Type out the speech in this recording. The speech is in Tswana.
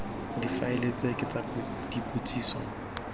difaele tse ke tsa dipotsiso